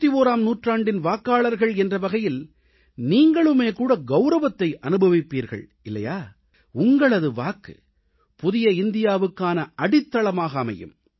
21ஆம் நூற்றாண்டின் வாக்காளர்கள் என்ற வகையில் நீங்களும் கவுரவத்தை அனுபவிப்பீர்கள் இல்லையா உங்களது வாக்கு புதிய இந்தியாவுக்கான அடித்தளமாக அமையும்